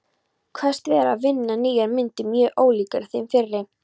Kveðst vera að vinna nýjar myndir mjög ólíkar þeim fyrri.